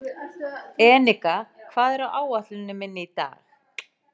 Enika, hvað er á áætluninni minni í dag?